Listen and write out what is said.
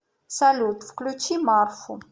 салют включи марфу